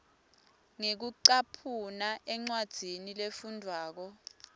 ngekucaphuna encwadzini lefundvwako